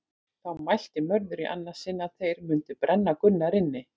Þá mælti Mörður í annað sinn að þeir mundi brenna Gunnar inni.